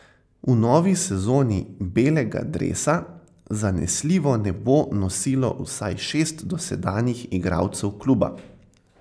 V novi sezoni belega dresa zanesljivo ne bo nosilo vsaj šest dosedanjih igralcev kluba.